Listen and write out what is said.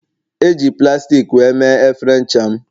Eji plastik wee mee efere ncha m